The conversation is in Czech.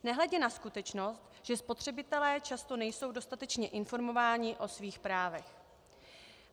Nehledě na skutečnost, že spotřebitelé často nejsou dostatečně informováni o svých právech.